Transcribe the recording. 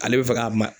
Ale bɛ fɛ ka ma